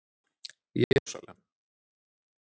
Jerúsalem